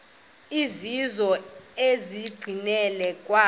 ezizizo enqileni yakho